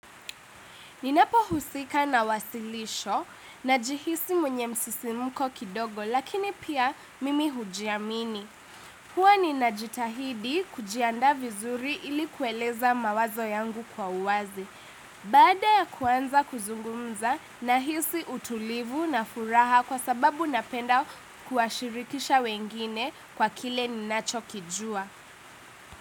Ninapohusika na wasilisho najihisi mwenye msisimuko kidogo lakini pia mimi hujiamini. Huwa ninajitahidi kujiandaa vizuri ili kueleza mawazo yangu kwa uwazi. Baada ya kuanza kuzungumza nahisi utulivu na furaha kwa sababu napenda kuwashirikisha wengine kwa kile ninachokijua.